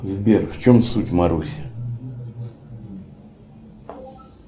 сбер в чем суть маруси